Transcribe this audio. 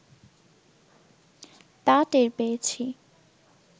তা টের পেয়েছি